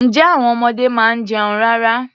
Ǹjẹ́ àwon ọmọdé máa ń jẹun rárá?